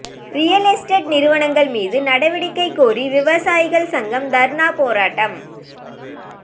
real estate நிறுவனங்கள் மீது நடவடிக்கை கோரி விவசாயிகள் சங்கம் தர்ணா போராட்டம்